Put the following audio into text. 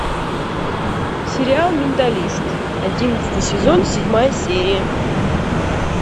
сериал менталист одиннадцатый сезон седьмая серия